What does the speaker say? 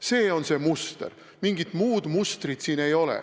See on see muster, mingit muud mustrit siin ei ole.